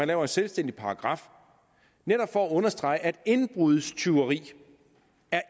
laver en selvstændig paragraf netop for at understrege at indbrudstyveri